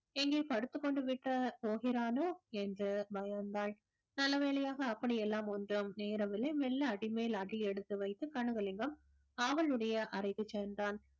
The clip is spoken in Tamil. எங்கே படுத்துக்கொண்டுவிட்ட போகிறானோ என்று பயந்தாள் நல்லவேளையாக அப்படி எல்லாம் ஒண்ணும் நேரவில்லை மெல்ல அடிமேல் அடி எடுத்து வைத்து கனகலிங்கம் அவளுடைய அறைக்கு சென்றான்